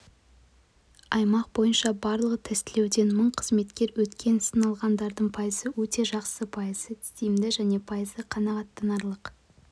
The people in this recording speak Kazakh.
аймақ бойынша барлығы тестілеуден мың қызметкер өткен сыналғандардың пайызы өте жақсы пайызы тиімді және пайызы қанағаттанарлық